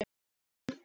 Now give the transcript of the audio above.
Þar sagði hann